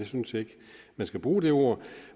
synes ikke man skal bruge det ord